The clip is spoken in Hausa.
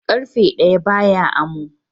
Ƙarfe ɗaya ba ya amo.